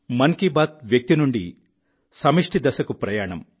మన్ కీ బాత్ వ్యక్తి నుండి సమష్టి దశకు ప్రయాణం